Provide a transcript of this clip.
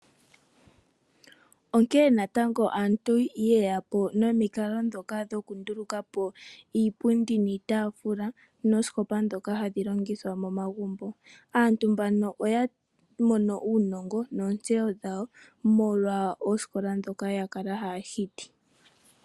Onkee natango aantu yeya po nomikalo ndhoka dhoku nduluka po iipundi niitaafula noosikopa ndhoka hadhi longithwa momagumbo. Aantu mbano oya mono uunongo noontseyo dhawo molwa oosikola ndhoka ya kala haya hiti.